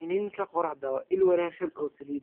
Iniinka qorraxda waa il wanaagsan oo saliidda.